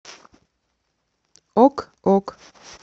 ок ок